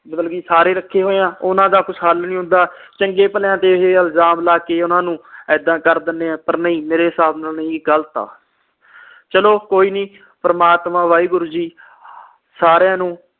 ਮਤਲਬ ਕਿ ਸਾਰੇ ਰੱਖੇ ਹੋਏ ਆ ਓਹਨਾ ਦਾ ਕੁਝ ਹੱਲ ਨਹੀਂ ਹੁੰਦਾ ਚੰਗਿਆਂ ਭਲਿਆ ਤੇ ਇਹ ਇਲਜ਼ਾਮ ਲਾ ਕੇ ਓਹਨਾ ਨੂੰ ਏਦਾਂ ਕਰ ਦਿੰਦੇ ਆ ਪਰ ਨਹੀਂ ਮੇਰੇ ਸਾਬ ਨਾਲ ਇਹ ਗ਼ਲਤ ਆ ਚਲੋ ਕੋਈ ਨਹੀਂ ਪ੍ਰਮਾਤਮਾ ਵਾਹਿਗੁਰੂ ਜੀ ਸਾਰਿਆਂ ਨੂੰ